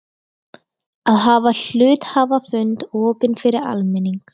að hafa hluthafafund opinn fyrir almenning.